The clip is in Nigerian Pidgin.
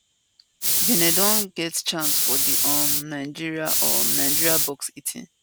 benin don get chance for di um nigeria um nigeria box 18